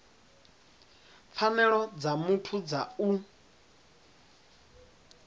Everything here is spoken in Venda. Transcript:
pfanelo dza muthu dza u